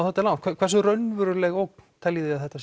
þetta langt hversu raunveruleg ógn teljið þið að þetta